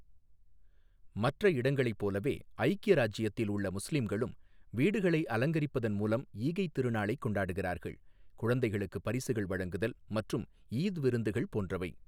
மற்ற இடங்களைப் போலவே, ஐக்கிய இராச்சியத்தில் உள்ள முஸ்லீம்களும் வீடுகளை அலங்கரிப்பதன் மூலம் ஈகைத் திருநாளைக் கொண்டாடுகிறார்கள், குழந்தைகளுக்கு பரிசுகள் வழங்குதல் மற்றும் ஈத் விருந்துகள் போன்றவை